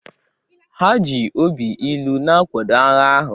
Ha ji obi ilu na-akwado agha ahụ